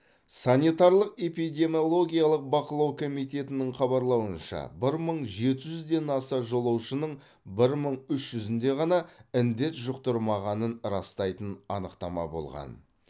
санитарлық эпидемиологиялық бақылау комитетінің хабарлауынша бір мың жеті жүзден аса жолаушының бір мың үш жүзінде ғана індет жұқтырмағанын растайтын анықтама болған